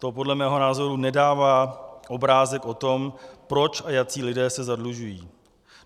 To podle mého názoru nedává obrázek o tom, proč a jací lidé se zadlužují.